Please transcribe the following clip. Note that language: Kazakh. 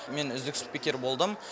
мен үздік спикер болдым